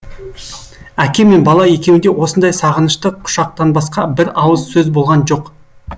әке мен бала екеуінде осындай сағынышты құшақтанбасқа бір ауыз сөз болған жоқ